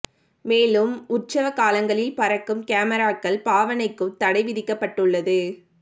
மேலும் உற்சவ காலங்களில் பறக்கும் கமராக்கள் பாவனைக்கும் தடை விதிக்கப்பட்டுள்ளது